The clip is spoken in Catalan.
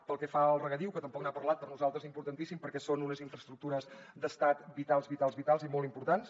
pel que fa al regadiu que tampoc n’ha parlat per nosaltres és importantíssim perquè són unes infraestructures d’estat vitals vitals vitals i molt importants